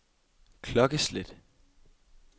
klokkeslæt